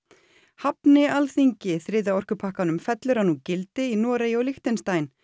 hafni Alþingi þriðja orkupakkanum fellur hann úr gildi í Noregi og Lichtenstein